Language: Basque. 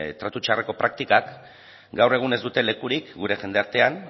tratu txarreko praktikak gaur egun ez dute lekurik gure jendartean